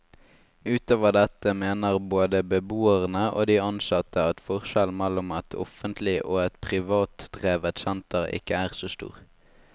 Utover dette mener både beboerne og de ansatte at forskjellen mellom et offentlig og et privatdrevet senter ikke er så stor.